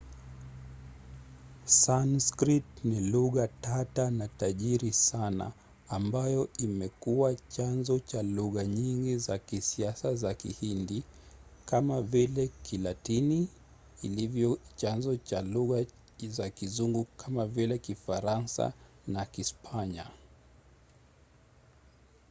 sanskrit ni lugha tata na tajiri sana ambayo imekuwa chanzo cha lugha nyingi za kisasa za kihindi kama vile kilatini ilivyo chanzo cha lugha za kizungu kama vile kifaransa na kispanya